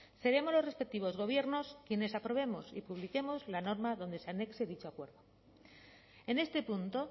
seremos los respectivos gobiernos quienes aprobemos y publiquemos la norma donde se anexe dicho acuerdo en este punto